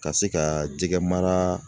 Ka se ka jɛgɛ mara